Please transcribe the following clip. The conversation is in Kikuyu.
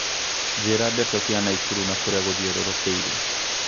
njīra ndeto cia naikuru na kūrīa gūthiūrūrūkīirie